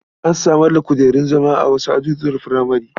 An samar da kujerun zama a wasu azuzuwan furamare.